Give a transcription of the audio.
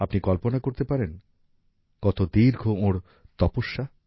আপনি কল্পনা করতে পারেন কত দীর্ঘ ওঁর তপস্যা